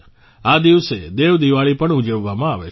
આ દિવસે દેવ દિવાળી પણ ઉજવવામાં આવે છે